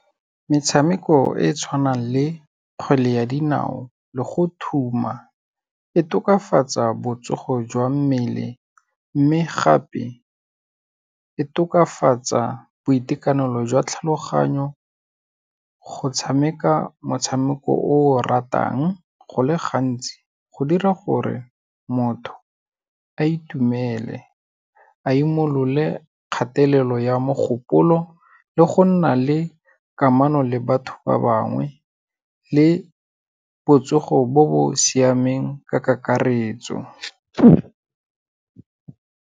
Metshameko e tshwanang le kgwele ya dinao le go thuma, e tokafatsa botsogo jwa mmele mme gape, e tokafatsa boitekanelo jwa tlhaloganyo go tshameka motshameko o o ratang, go le gantsi go dira gore motho a itumele, a imolole kgatelelo ya mogopolo le go nna le kamano le batho ba bangwe le botsogo bo bo siameng ka kakaretso.